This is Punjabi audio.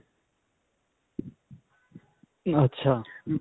ਅੱਛਾ.